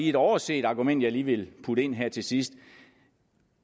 et overset argument jeg lige vil putte ind her til sidst